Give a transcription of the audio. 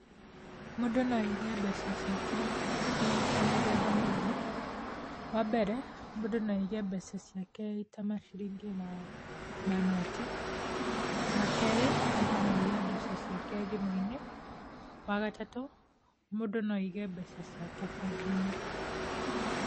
Mũndũ no aige mbeca ciake, irĩ ta mĩthemba mĩingĩ. Wa mbere, mũndũ no aige mbeca ciake ita maciringi na manoti. Wa kerĩ, mũndũ no aige mbeca ciake thimũ-inĩ. Wa gatatũ, mũndũ no aige mbeca ciake bengi-inĩ.